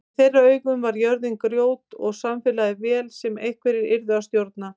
Í þeirra augum var jörðin grjót og samfélagið vél sem einhverjir yrðu að stjórna.